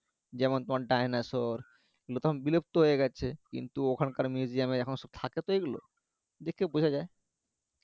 যেমন তোমার dinosaur এগুলো তো এখন বিলুপ্ত হয়ে গেছে কিন্তু ওখানকার museum এ এখন সব থাকে তো এইগুলো, দেখে বোঝা যায়